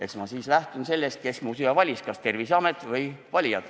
Eks ma siis lähtun sellest, kes mu siia valis – need olid valijad, mitte Terviseamet.